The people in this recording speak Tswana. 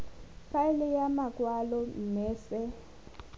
faele ya makwalo mme se